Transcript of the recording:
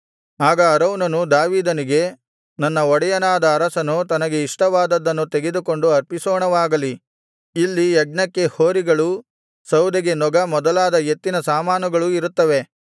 ಆಗ ಅರೌನನು ದಾವೀದನಿಗೆ ನನ್ನ ಒಡೆಯನಾದ ಅರಸನು ತನಗೆ ಇಷ್ಟವಾದದ್ದನ್ನು ತೆಗೆದುಕೊಂಡು ಅರ್ಪಿಸೋಣವಾಗಲಿ ಇಲ್ಲಿ ಯಜ್ಞಕ್ಕೆ ಹೋರಿಗಳೂ ಸೌದೆಗೆ ನೊಗ ಮೊದಲಾದ ಎತ್ತಿನ ಸಾಮಾನುಗಳೂ ಇರುತ್ತವೆ